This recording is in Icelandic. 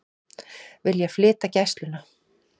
Vilja flytja Gæsluna